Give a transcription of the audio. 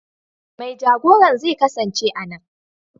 Mai jagoran zai kasance a nan.